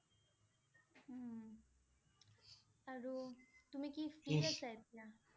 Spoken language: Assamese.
উম । আৰু তুমি কি free আছা এতিয়া?